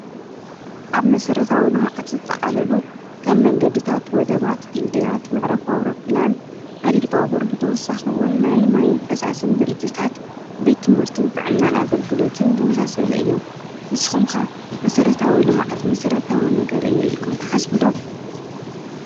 ኣብ መሠረታዊ ሎመዓት ዘጠቓለሉ ከም መንገድ ታት ወደባት ድልድያት ምዕረፉ ኣውሮብላን ሃዲድባቦር ብተወሳኸውን ናይ ማይን ፈሳስን ድርጅሳት ቤትምርትን ጥዕናን ኣገልግሎትን ብመሳሰሊ እዮም ንስ ኹምካ መሠረታዊ ልመዓት መሠረታዊ ነገር እየ ኢልኩም ተሓስብዶ።